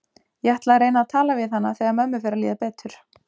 Ég ætla að reyna að tala við hana þegar mömmu fer að líða betur.